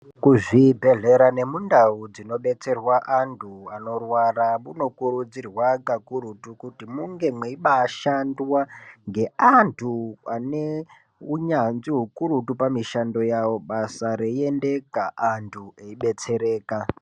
Kuzvibhedhlera nemundau dzinobetserwa antu anorwara, munokurudzirwa kakurutu kuti munge meibashandwa ngeantu ane unyanzvi hukurutu, pamishando yavo basa reiendeka antu eibetsereka.